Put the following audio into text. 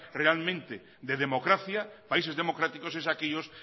realmente de democracia países democráticos es aquellos